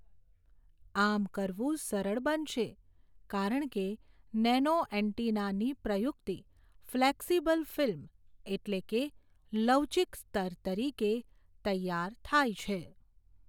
આમ કરવું સરળ બનશે, કારણ કે નેનોએનટેના ની પ્રયુક્તિ, ફલેકસીબલ ફિલ્મ એટલે કે લવચીક સ્તર તરીકે તૈયાર થાય છે.